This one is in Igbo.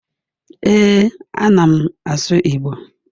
Ee, a na m asụ Igbo